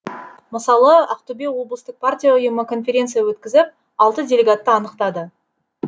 мысалы ақтөбе облыстық партия ұйымы конференция өткізіп алты делегатты анықтады